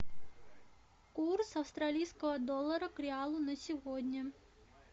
курс австралийского доллара к реалу на сегодня